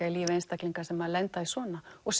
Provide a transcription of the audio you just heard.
í lífi einstaklinga sem lenda í svona og